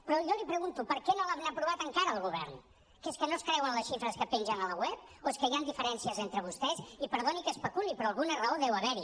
però jo li pregunto per què no l’han aprovat encara al govern que és que no es creuen les xifres que pengen al web o és que hi han diferències entre vostès i perdoni que especuli però alguna raó deu haver hi